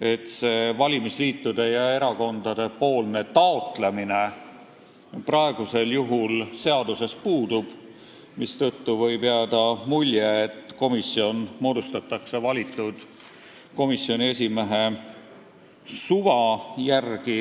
et see valimisliitude ja erakondade taotlus praegu seaduses puudub, mistõttu võib jääda mulje, et komisjon moodustatakse valitud komisjoni esimehe suva järgi.